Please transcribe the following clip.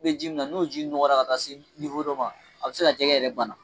U bɛ ji min na n' ji nɔgɔra ka taa se dɔ ma a bɛ se jɛgɛ yɛrɛ bana